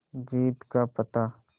जीत का पता